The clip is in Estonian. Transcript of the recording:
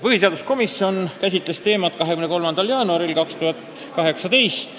Põhiseaduskomisjon käsitles seda teemat tänavu 23. jaanuaril.